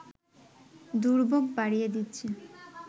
দুর্ভোগ বাড়িয়ে দিচ্ছেন